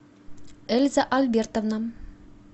эльза альбертовна